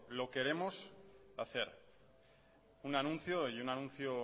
lo queremos hacer un anuncio y un anuncio